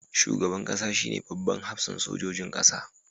Shugaban kasa shine babban hafsan sojojin kasa.